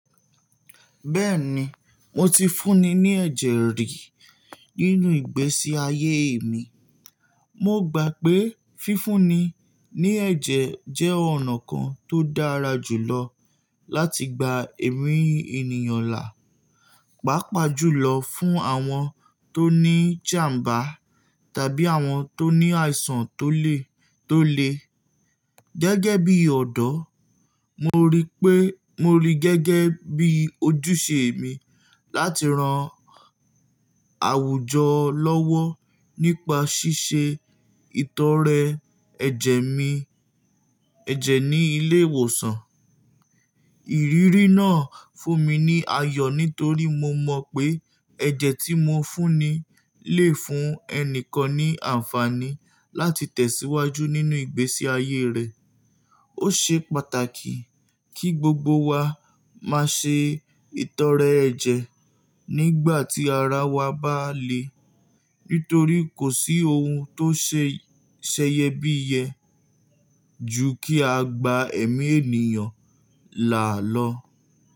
Bẹ́ẹ̀ni, mo ti fúnni ní ẹ̀jẹ̀ rí nínú ìgbésí ayé mi. Mo gbà pé fífúnni ní ẹ̀jẹ̀ jẹ́ ọ̀nà kan tó dára jùlọ láti gba ẹ̀mí ènìyàn là. Pàápàá jùlọ fún àwọn tó ní ìjàmbá tàbí àwọn tó ní àìsàn tó le, tó le gẹ́gẹ́ bí ọ̀dọ́. Mo rí pé, mo rí i gẹ́gẹ́ bí ojúṣe mi láti ran àwùjọ lọ́wọ́ nípa ṣíṣe ìtọrẹ ẹ̀jẹ̀ mi, ẹ̀jẹ̀ ní ilé ìwòsàn. Ìrírí náà fún mi ní ayọ̀ nítorí mo mọ pé ẹ̀jẹ̀ tí mo fúnni lè fún ẹni kan ní àǹfààní láti tẹ̀síwájú nínú ìgbésí ayé rẹ̀. Ó ṣe pàtàkì kí gbogbo wa máa ṣe ìtọrẹ ẹ̀jẹ̀ nígbàtí ara wa bá le, nítorí kò sí ohun tó ṣe sẹyẹbíyẹ ju kí a gba ẹ̀mí ènìyàn là lọ.